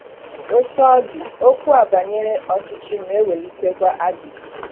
Otú ọ dị, okwu a banyere ọchịchị na-ewelitekwa ajụjụ.